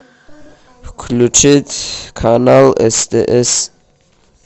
включить канал стс